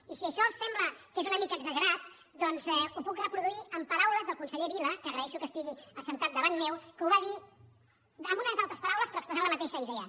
i si això els sembla que és una mica exagerat doncs ho puc reproduir amb paraules del conseller vila que agraeixo que estigui assegut davant meu que ho va dir amb unes altres paraules però expressant la mateixa idea